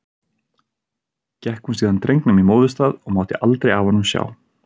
Gekk hún síðan drengnum í móðurstað og mátti aldrei af honum sjá.